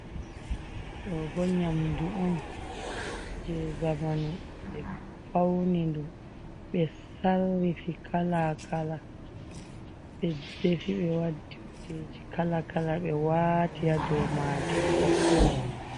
Ɗo bo nyamdu on jei zamanu ɓe fauni ɗum, ɓe sarrifi kala kala ɓe defi ɓe waddi kujeji kala kala be waati ha dou majum ko voɗa.